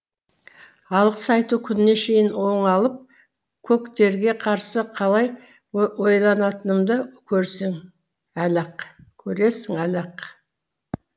алғыс айту күніне шейін оңалып көктерге қарсы қалай ойнайтынымды көресің әлі ақ